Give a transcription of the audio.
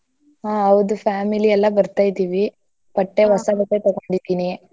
ಹಾ ಹೌದು family ಎಲ್ಲ ಬರ್ತಾ ಇದೀವೀ ಬಟ್ಟೆ ಹೊಸ ಬಟ್ಟೆ ತಗೊಂಡಿದೀನಿ.